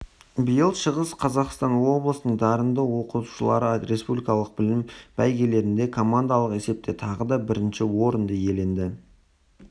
биыл шығыс қазақстан облысының дарынды оқушылары республикалық білім бәйгелерінде командалық есепте тағы да бірінші орынды иеленді